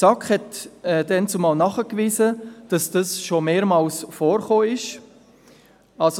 Die SAK wies damals nach, dass dies schon mehrmals vorgekommen war.